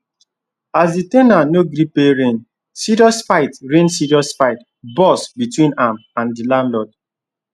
as the ten ant no gree pay rent serious fight rent serious fight burst between am and the landlord